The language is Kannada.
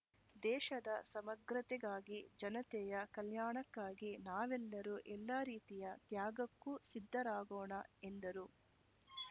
ದೇಶದ ಸಮಗ್ರತೆಗಾಗಿ ಜನತೆಯ ಕಲ್ಯಾಣಕ್ಕಾಗಿ ನಾವೆಲ್ಲರೂ ಎಲ್ಲ ರೀತಿಯ ತ್ಯಾಗಕ್ಕೂ ಸಿದ್ಧರಾಗೋಣ ಎಂದರು